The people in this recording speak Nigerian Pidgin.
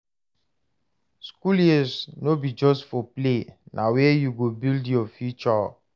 School years no be just for play, na where you go build your future.